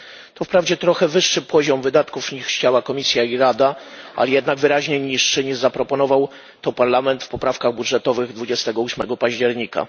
To wprawdzie trochę wyższy poziom wydatków niż chciała Komisja i Rada, ale jednak wyraźnie niższy niż zaproponował to Parlament w poprawkach budżetowych w dniu 28 października.